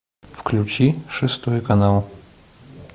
включи шестой канал